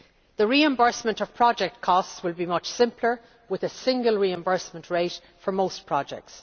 The reimbursement of project costs will be much simpler with a single reimbursement rate for most projects.